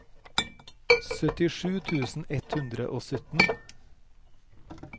syttisju tusen ett hundre og sytten